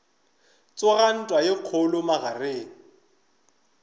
tsoga ntwa ye kgolo magareng